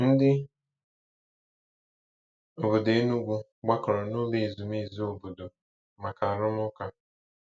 Ndị obodo Enugwu gbakọrọ n'ụlọ ezumezu obodo maka arụmụka.